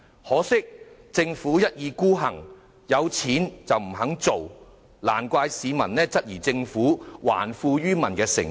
可是，政府一意孤行，即使有盈餘，卻不願意這樣做，難怪市民質疑政府還富於民的誠意。